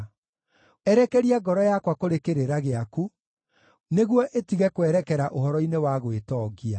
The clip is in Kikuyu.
Erekeria ngoro yakwa kũrĩ kĩrĩra gĩaku, nĩguo ĩtige kwerekera ũhoro-inĩ wa gwĩtongia.